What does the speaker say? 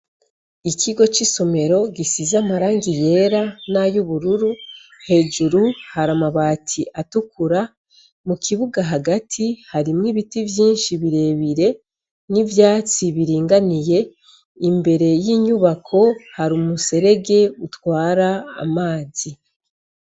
Ikigo c'isomero gisiza amarangi yera n'ayo ubururu hejuru hari amabati atukura mu kibuga hagati harimwo ibiti vyinshi birebire n'ivyatsi biringaniye imbere y'inyubako hari umuserege utwara amazi.